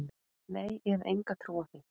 Nei, ég hef enga trú á því.